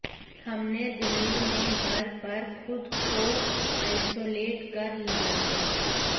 हमने दिल्ली में घर पर खुद को आइसोलेट कर लिया है